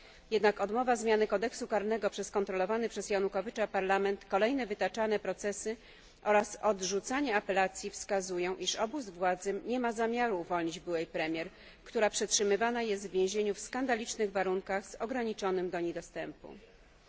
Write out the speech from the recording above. Jednak odmowa zmiany kodeksu karnego przez kontrolowany przez Janukowycza Parlament, kolejne wytaczane procesy oraz odrzucanie apelacji wskazują, iż obóz władzy nie ma zamiaru uwolnić byłej premier, która przetrzymywana jest w więzieniu w skandalicznych warunkach, a dostęp do niej jest ograniczony.